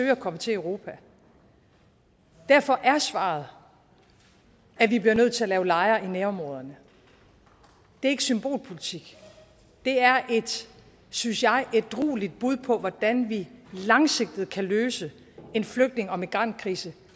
at komme til europa derfor er svaret at vi bliver nødt til at lave lejre i nærområderne det er ikke symbolpolitik det er et synes jeg ædrueligt bud på hvordan vi langsigtet kan løse en flygtninge og migrantkrise